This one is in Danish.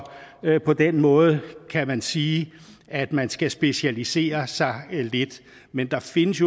på den måde kan man sige at man skal specialisere sig lidt men der findes